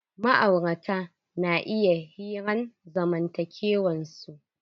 Ma'aurata na iya hiran zamantakewan su.